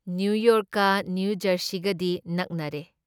ꯅꯤꯌꯨꯌꯣꯔꯛꯀ ꯅꯤꯌꯨꯖꯔꯁꯤꯒꯗꯤ ꯅꯛꯅꯔꯦ ꯫